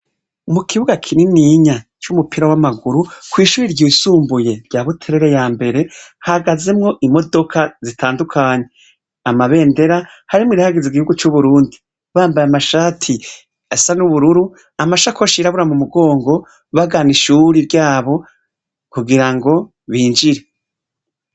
Mukibuga kininiya c'umupira w'amaguru, kw'ishure ritoya rya buterere wa buterere yambere, hahagazemwo imodoka zitandukanye, amabendera harimwo irihayagiz'igihugu c'uburundi, amashati asa n'ubururu, amashakoshi yirabura mu mugongo, bagana ishuri ryabo kugirango binjire.